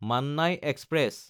Mannai express